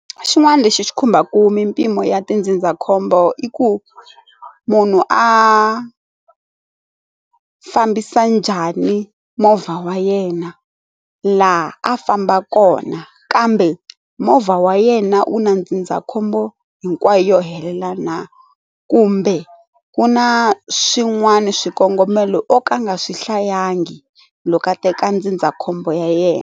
Xin'wana lexi xi khumbaka mimpimo ya tindzindzakhombo i ku munhu a fambisa njhani movha wa yena laha a fambaka kona kambe movha wa yena wu na ndzindzakhombo hinkwayo yo helela na, kumbe ku na swin'wana swikongomelo o ka a nga swi hlayangi loko a teka ndzindzakhombo ya yena.